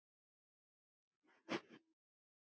Perlan gerði.